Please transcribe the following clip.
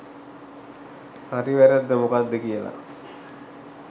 හරි වැරද්ද මොකක්ද කියලා